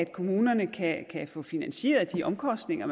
kommunerne kan få finansieret de omkostninger